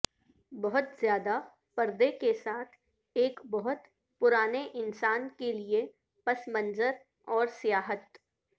بہت زیادہ پردے کے ساتھ ایک بہت پرانے انسان کے لئے پس منظر اور سیاحت